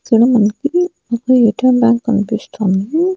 ఇక్కడ మనకి ఒక ఎయిర్టెల్ బ్యాంక్ కనిపిస్తోంది.